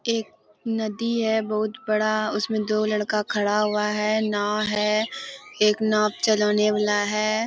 एक नदी है बहुत बड़ा। उसमें दो लड़का खड़ा है। नाव है एक नाव चलाने वाला है।